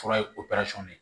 Fura ye de ye